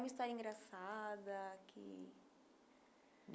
Uma história engraçada. que